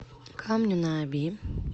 камню на оби